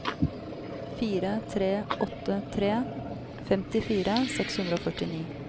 fire tre åtte tre femtifire seks hundre og førtini